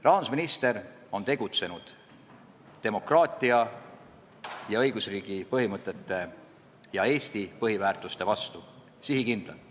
Rahandusminister on sihikindlalt tegutsenud demokraatia ja õigusriigi põhimõtete ning Eesti põhiväärtuste vastu.